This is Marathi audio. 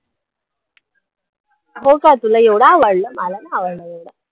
हो का तुला एवढा आवडला मला नाही आवडला एवढा